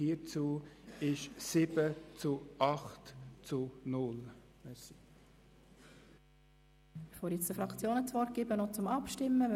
Bevor ich den Fraktionen das Wort erteile, informiere ich noch über das Abstimmungsprocedere.